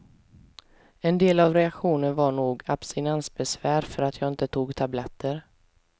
En del av reaktionen var nog abstinensbesvär för att jag inte tog tabletter.